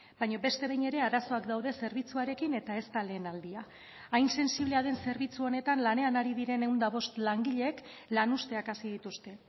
baina beste behin ere arazoak daude zerbitzuarekin eta ez da lehen aldia hain sentsiblea den zerbitzu honetan lanean ari diren ehun eta bost langileek lan uzteak hasi dituzte